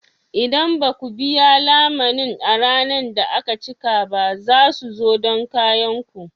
Idan ba ku biya lamunin a ranar da aka cika ba, za su zo don kayan ku.